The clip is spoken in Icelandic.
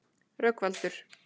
Rögnvaldur